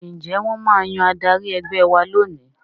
Ǹjẹ́ wọ́n máa yan adarí ẹgbẹ́ wa lónìí